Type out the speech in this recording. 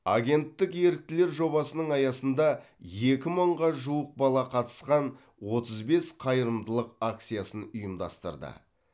агенттік еріктілер жобасының аясында екі мыңға жуық бала қатысқан отыз бес қайырымдылық акциясын ұйымдастырды